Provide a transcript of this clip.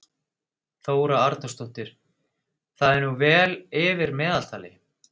Þóra Arnórsdóttir: Það er nú vel yfir meðaltali?